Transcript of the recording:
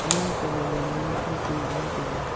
ma jangchangba yang jaunu khidki ang jingley tailey.